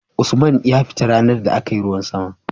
Usman ya fita ranar da akayi ruwan sama